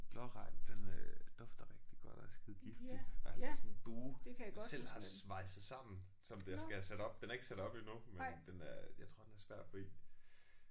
Blåregn den øh dufter rigtig godt og er skidegiftig og jeg har lavet sådan en bue jeg selv har svejset sammen som den skal have sat op den er ikke sat op endnu men den er jeg tror den er svær at få i